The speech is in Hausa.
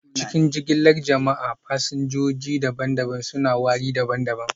A cikin jigilar jama'a, fasinjoji daban-daban suna wari daban-daban